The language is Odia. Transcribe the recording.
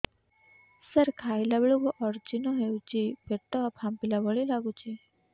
ସାର ଖାଇଲା ବେଳକୁ ଅଜିର୍ଣ ହେଉଛି ପେଟ ଫାମ୍ପିଲା ଭଳି ଲଗୁଛି